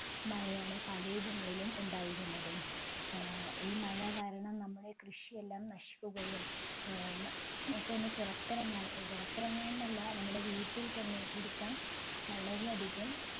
മഴയാണ് പല ഇടങ്ങളിലും ഉണ്ടായിരുന്നത് ഏർ ഈ മഴ കാരണം നമ്മുടെ കൃഷിയെല്ലാം നശിക്കുകയും ഏർ ന എനിക്കൊന്നു പുറത്തിറങ്ങാൻ പുറത്തിറങ്ങാൻ നല്ല നമ്മുടെ വീട്ടിൽ തന്നെ ഇരിക്കാൻ വളരെ അധികം